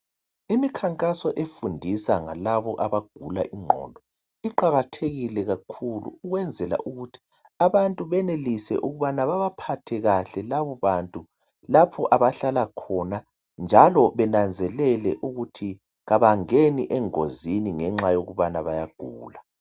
imkhankaso efundisa ngalaba abagula inqondo iqakathekile kakhulu ukwenzela ukuthi abantu benelise ukubana bebaphathe kahle laba bantu njalo benanzeleli ukuthi abangeni engozini ngenxayokuthi bayagula